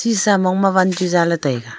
esa mong ma one chu za ley tai a.